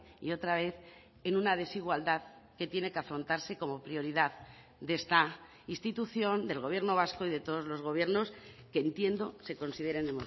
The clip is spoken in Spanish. y otra vez en una desigualdad que tiene que afrontarse como prioridad de esta institución del gobierno vasco y de todos los gobiernos que entiendo se consideren